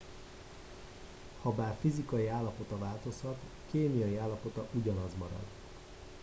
habár fizikai állapota változhat kémiai állapota ugyanaz marad